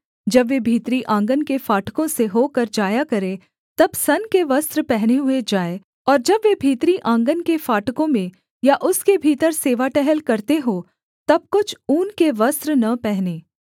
जब वे भीतरी आँगन के फाटकों से होकर जाया करें तब सन के वस्त्र पहने हुए जाएँ और जब वे भीतरी आँगन के फाटकों में या उसके भीतर सेवा टहल करते हों तब कुछ ऊन के वस्त्र न पहनें